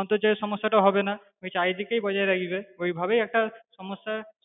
অন্তর্জালের সমস্যা হবেনা, চারিদিকেই বজায় রাখবে ঐভাবেই একটা সমস্যার